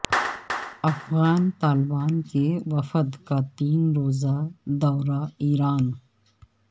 افغان طالبان کے وفد کا تین روزہ دورہ ایران